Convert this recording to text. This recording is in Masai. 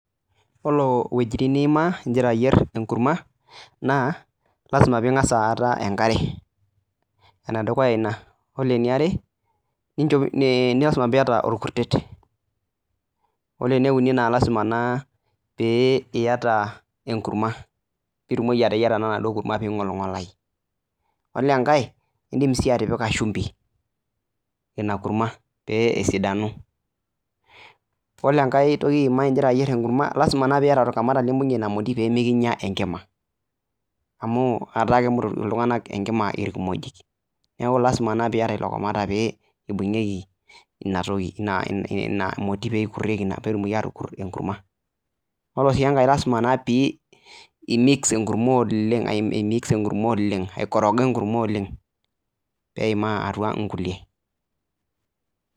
Iyiolo intokitin niimaa igira ayier enkurma, naa lazima peyie ing'asa aata enkare enedukuya iina oore eniare lazima peyie iata orkutet. Oore eneuni naa lazima naa peyie iata enkurma pee itumoki naa ateyiara ena duo kurma pee eing'oling'olau. Iyiolo enkae iin'dim sii atipika shumbi iina kurma pee esidanu. Iyiolo enke toki igira ayier iina kurma kenarikino niata orkamata pee mekinya enkima amuu etaa enya enkima iltung'anak irkimojik, niaku lazima naa pee iata ilo kamata pee eibung'ieki ina moti ekurtieki pee etumoki atukurto enkurma. Oore sii enkae lazima pee imix enkurma oleng inkoroga enkurma oleng pee eimaa inkulie.